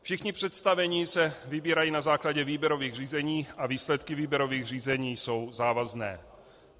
Všichni představení se vybírají na základě výběrových řízení a výsledky výběrových řízení jsou závazné.